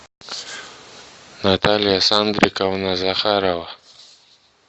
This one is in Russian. наталья сандриковна захарова